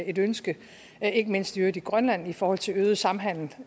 et ønske ikke mindst i øvrigt i grønland i forhold til øget samhandel